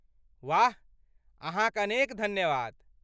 वाह! अहाँक अनेक धन्यवाद।